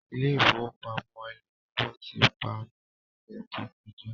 Ilé ìfowópamọ́ eleyawo ti pa ní ọ̀sẹ̀ tó kọjá.